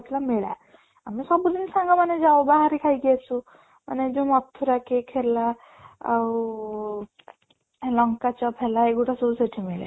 ପଡିଥିଲା ମେଳା ଆମେ ସବୁ ଦିନ ସାଙ୍ଗମାନେ ଯାଉ ବାହାରେ ଖାଇକି ଆସୁ ମାନେ ଯୋଉ ମଥୁରା cake ହେଲା ଆଉ ଲଙ୍କା ଚପ୍ ହେଲା ଏଗୁଡା ସବୁ ସେଠି ମିଳେ